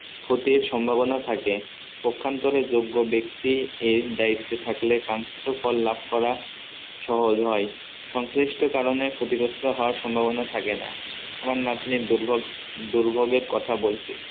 ক্ষতির সম্ভাবনা থাকে ওখান্তরে যোগ্য ব্যক্তি এর দায়িত্বে থাকলে কলাপ করা সহজ হয়ে সংশ্লিষ্ট কারণে ক্ষতিগ্রস্ত হওয়ার সম্ভাবনা থাকে না আমার নাতনির দুর্বল দুর্ভোগের কথা বলছি